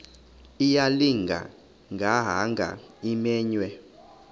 ayilinga gaahanga imenywe